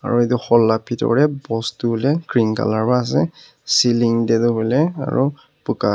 aru itu hall la pitor dey post tu huiley green colour wa ase ceiling dey du huiley aru buka--